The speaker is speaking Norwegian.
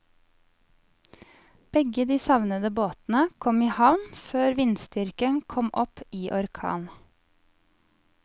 Begge de savnede båtene kom i havn før vindstyrken kom opp i orkan.